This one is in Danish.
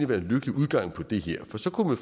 være en lykkelig udgang på det her for så kunne